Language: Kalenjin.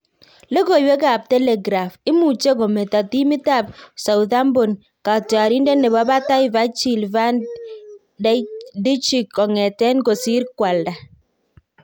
logoiwek ab Telegraph; Imuche kometo timit ab Southampton katyrarindet nebo batai Virgil van Djik konget kosir koalda